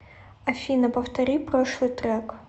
афина повтори прошлый трек